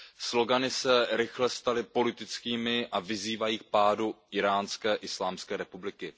Slogany se rychle staly politickými a vyzývají k pádu Íránské islámské republiky.